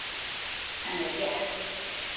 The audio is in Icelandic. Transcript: Henni er létt.